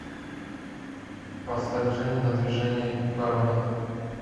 поставь женя на движении боронина